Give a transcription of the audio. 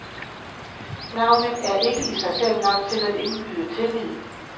Navnet er ikke i sig selv nok til at indgyde tillid.